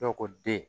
Dɔw ko den